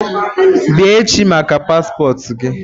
Bịa echi maka paspọtụ gi!